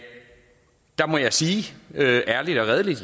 ærligt og redeligt